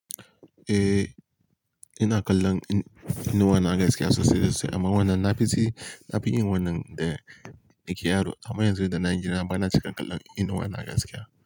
Eh, ina kallon Inuwa na gaskiya sosai da sosai amma wannan na fishi, na fi yin wannan da nake yaro amma yanzu da na girma bana cika kallon Inuwa gaskia.